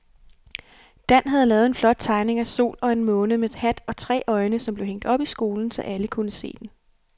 Dan havde lavet en flot tegning af en sol og en måne med hat og tre øjne, som blev hængt op i skolen, så alle kunne se den.